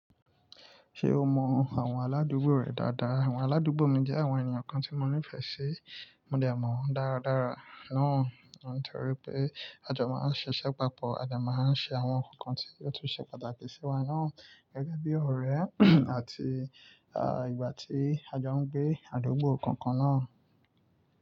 Ṣé o mọ àwọn aládùúgbò rẹ dáadáa? Àwọn aládùúgbò mi jẹ́ àwọn ènìyàn kan tí mo nífẹ̀ẹ́ sí, mo dè mọ̀ wọ́n dáradára. Naa nitoripe a jo máa ń ṣiṣẹ́ papọ̀, a dè máa ń ṣe àwọn nǹkankan tí óò tún ṣe pàtàkì sí wa naa gẹ́gẹ́ bí ọ̀rẹ́ àti ìgbà tí a jọ ń gbé, adùgbò kankan náà.